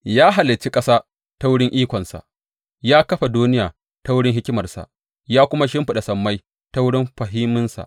Ya halicci ƙasa ta wurin ikonsa; ya kafa duniya ta wurin hikimarsa, ya kuma shimfiɗa sammai ta wurin fahiminsa.